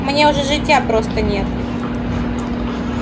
мне уже житья просто нет